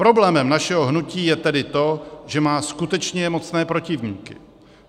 Problémem našeho hnutí je tedy to, že má skutečně mocné protivníky.